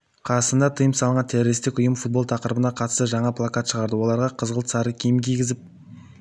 қазақстанда тыйым салынған террористік ұйымы футбол тақырыбына қатысты жаңа плакат шығарды оларға қызғылт сары киім кигізіп